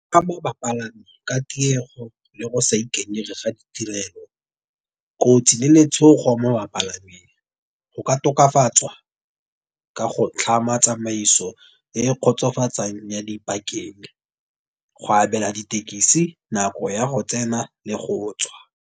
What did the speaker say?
Ka mo bapalami ka tiego le go sa ikanyega ga ditirelo kotsi le letshogo mo bapalameng. Go ka tokafatswa ka go tlhama tsamaiso e kgotsofatsang ya dipakeng, go abela ditekisi nako ya go tsena le go tswa.